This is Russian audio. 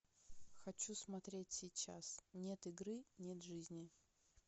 хочу смотреть сейчас нет игры нет жизни